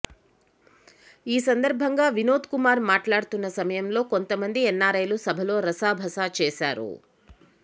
ఈ సందర్భంగా వినోద్కుమార్ మాట్లాడుతున్న సమయంలో కొంత మంది ఎన్నారైలు సభలో రసాభాస చేశారు